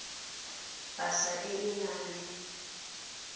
pasa e e nang le